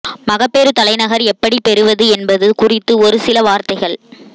மகப்பேறு தலைநகர் எப்படிப் பெறுவது என்பது குறித்து ஒரு சில வார்த்தைகள்